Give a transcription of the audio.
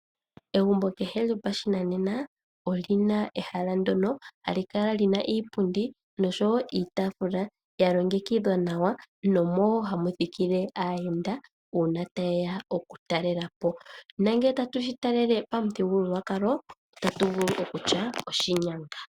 Egumbo kehe lyopashinanena, olina ehala ndyono hali kala lina iipundi noshowo iitafula ya longekidhwa nawa nomo wo hamu thikile aayenda ngele ta yeya oku talelapo . Nongele tatu shi talele pamuthigululwakalo otatu vulu iike okutya oshinyanga.